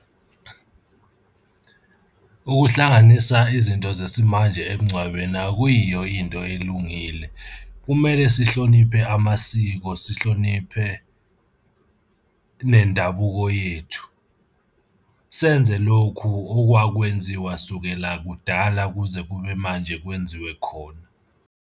Ukuhlanganisa izinto zesimanje emngcwabeni akuyiyo into elungile, kumele sihloniphe amasiko, sihloniphe nendabuko yethu. Senze lokhu okwakwenziwa kusukela kudala kuze kube manje kwenziwe khona.